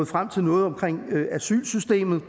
frem til noget omkring asylsystemet